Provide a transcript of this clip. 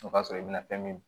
O b'a sɔrɔ i bɛna fɛn min